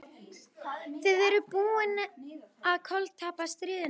Þið eruð búnir að koltapa stríðinu!